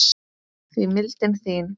því mildin þín